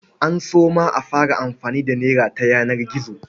An so ma a fara amfani da nera ta yanar gizo.